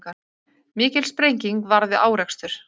Mikil sprenging varð við árekstur